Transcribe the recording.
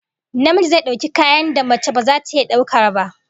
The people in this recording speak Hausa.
Namiji zai dauki kayan da mace baza ta iya daukar ba